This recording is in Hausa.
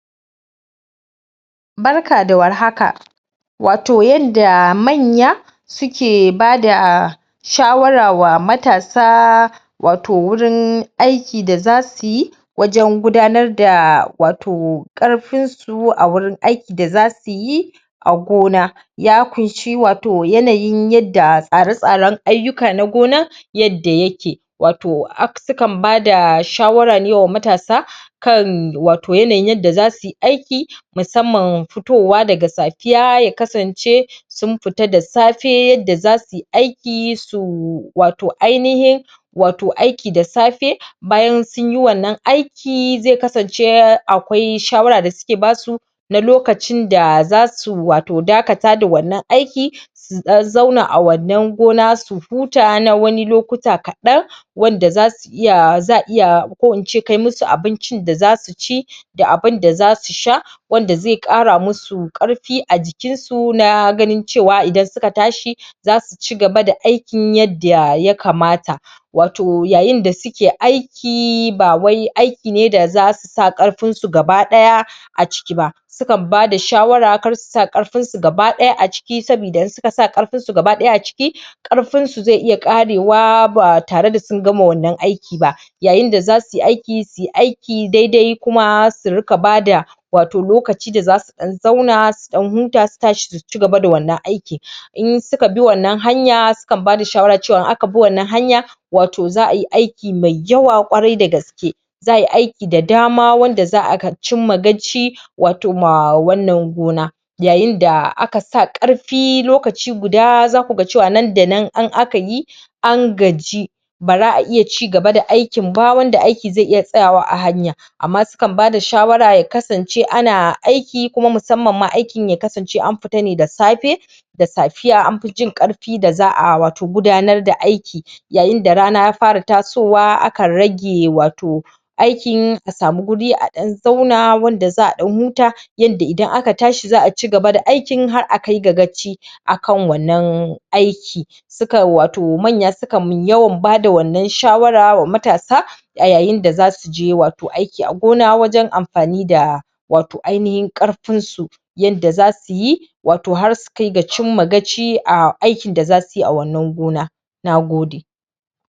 Barka da warhaka watau yadda manya suke bada shawara ga matasa watau wurin aiki da zasu yi wajen gudanar da watau ƙarfin su a wurin aiki da zasu yi a gona ya ƙunshi watau yanayin yadda tsare-tsaren ayyuka na gonan yadda yake watau? sukan bada shawara ne wa matasa kan watau yanayin yadda zasu yi aiki musamman fitowa daga safiya ya kasance sun fita da safe yadda zasu yi aiki su watau ainihin watau aiki da s bayan sunyi wannan aiki zai kasance akwai shawara da suke basu na lokacin da zasu watau dakata da wannan aiki sun dan zauna a wannan gona su huta na wani lokuta kaɗan? za a iya? kai musu abincin da zasu ci da abinda zasu sha wanda zai ƙara musu ƙarfi a jikinsu na ganin cewa idan suka tashi zasu cigaba da aikin yadda ya kamata watau yayin da suke aiki ba wai aiki ne da zasu sa ƙarfinsu gaba daya a ciki ba. Su kan bada shawara kar su sa ƙarfinsu gaba daya a ciki saboda idan suka sa ƙarfinsu gaba daya a ciki, ƙarfinsu zai iya ƙarewa ba tare da sun gama wannan aiki ba yayin da zasu yi aiki daidai kuma su riƙa bada lokaci da zasu ɗan zauna su ɗan huta su cigaba da wannan aiki In suka bi wannan hanya sukan bada shawara cewa in aka bi wannan hanya watau za ayi aiki mai yawa ƙwarai da gaske. Za ayi aiki da dama wanda za a cimma gaci watau ma wannan gona yayin da aka sa ƙarfi lokaci guda zaku ga nan da nan in aka yi an gaji baza a iya cigaba da aikin ba wanda aiki zai iya tsayawa a hanya amma sukan bada shawara ya kasance ana aiki kuma musamman ma aikin ya kasance an fita da safe da safiya an fi jin ƙarfi da za a watau gudanar da aiki yayin da rana ya fara tasowa aka rage watau aikin a samu wuri a ɗan zauna wurin da za a ɗan huta yadda idan aka tashi za a cigaba da aikin har a cimma gaci a wannan aiki.? Manya sukan yawan bada wannan shawara wa matasa a yayin da zasu je watau aiki da gona wajen amfani da watau ainihin ƙarfinsu yadda zzasu yi yadda zasu yi har su cimma gaci a aikin da zasu yi a wannan gona. Nagode.